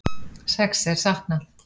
Sex er saknað